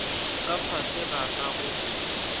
ka fase ga ka go